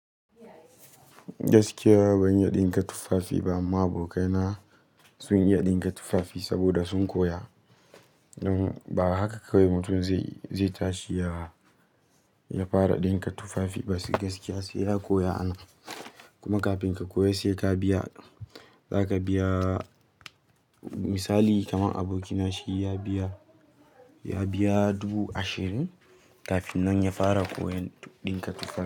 Gaskiya ban iya ɗinka tufafi ba amma abokai na sun iya ɗinka tufafi saboda sun koya. Ba haka kawai mutum zai tashi ya fara ɗinka tufafi ba gaskiya sai ya koya ana. Kuma kafin ka koya sai ka biya. Za ka biya misali kaman aboki na shi ya biya dubu ashirin kafin nan ya fara koyan ɗinka tufafi.